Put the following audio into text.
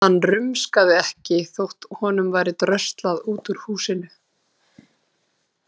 Hann rumskaði ekki þótt honum væri dröslað út úr húsinu.